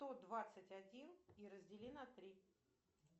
сто двадцать один и раздели на три